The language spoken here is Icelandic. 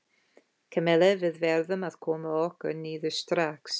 Kamilla, við verðum að koma okkur niður strax.